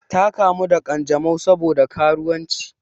Ta kamu da ƙanjamau sabo da karuwanci.